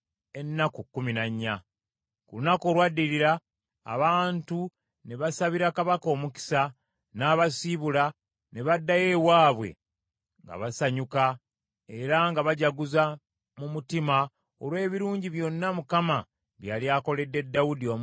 Ku lunaku olwaddirira abantu ne basabira Kabaka omukisa, n’abasiibula ne baddayo ewaabwe nga basanyuka era nga bajaguza mu mutima olw’ebirungi byonna Mukama bye yali akoledde Dawudi omuddu we n’abantu be Isirayiri.